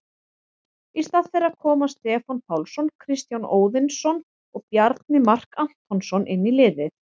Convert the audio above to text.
Í stað þeirra koma Stefán Pálsson, Kristján Óðinsson og Bjarni Mark Antonsson inn í liðið.